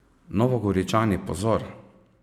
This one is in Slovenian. Novogoričani, pozor!